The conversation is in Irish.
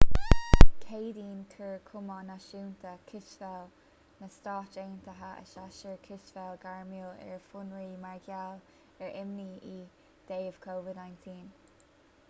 dé céadaoin chuir cumann náisiúnta cispheile na stát aontaithe a shéasúr cispheile gairmiúil ar fionraí mar gheall ar imní i dtaobh covid-19